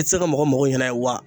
I te se ka mɔgɔ mago ɲɛna wa